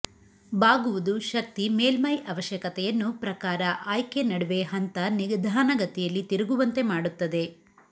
ಬಾಗುವುದು ಶಕ್ತಿ ಮೇಲ್ಮೈ ಅವಶ್ಯಕತೆಯನ್ನು ಪ್ರಕಾರ ಆಯ್ಕೆ ನಡುವೆ ಹಂತ ನಿಧಾನಗತಿಯಲ್ಲಿ ತಿರುಗುವಂತೆ ಮಾಡುತ್ತದೆ